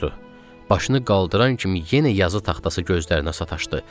Başını qaldıran kimi yenə yazı taxtası gözlərinə sataşdı.